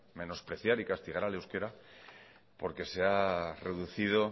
menospreciar y castigar al euskera porque se ha reducido